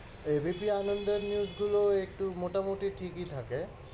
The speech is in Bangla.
APB আনন্দের news গুলো একটু মোটামুটি ঠিকই থাকে।